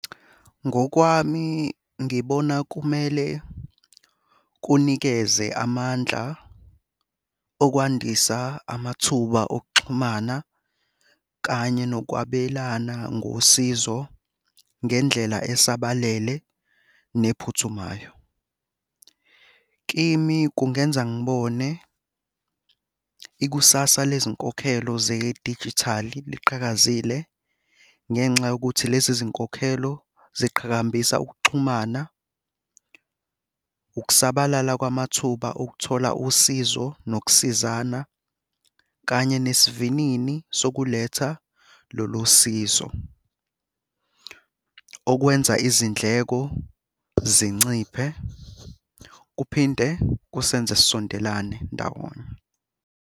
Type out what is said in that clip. Ngokwami ngibona kumele kunikeze amandla okwandisa amathuba okuxhumana kanye nokwabelana ngosizo ngendlela esabalele nephuthumayo. Kimi kungenza ngibone ikusasa lezinkokhelo zedijithali liqhakazile ngenxa yokuthi lezi zinkokhelo ziqhakambisa ukuxhumana, ukusabalala kwamathuba okuthola usizo nokusizana, kanye nesivinini sokuletha lolu sizo. Okwenza izindleko zinciphe, kuphinde kusenze sisondelane ndawonye.